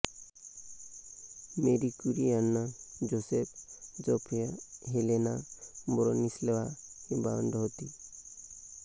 मेरी Curie यांना Jozef Zofia Helena Bronislawa ही भावंड होती